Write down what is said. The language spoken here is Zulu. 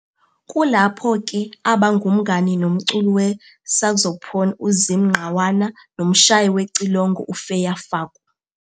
Kulapho ke aba ngumngani nomculi we-saxophon uZim Ngqawana nomshayi wecilongo uFeya Faku.